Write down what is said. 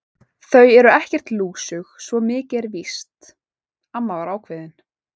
Þau eru ekkert lúsug, svo mikið er víst amma var ákveðin.